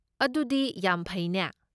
ꯑꯗꯨꯗꯤ ꯌꯥꯝ ꯐꯩꯅꯦ!